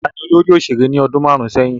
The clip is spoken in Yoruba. Taani olórí òṣèré ní ọdún márún sẹ́yìn?